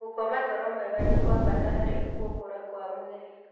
Gũkoma toro mwega nĩ kwa bata harĩ gũkũra kwa mwĩrĩ.